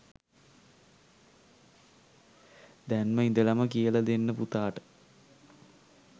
දැම්ම ඉඳලම කියලා දෙන්න පුතාට